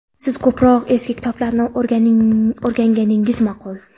Siz ko‘proq eski kitoblarni o‘qiganingiz maʼqul.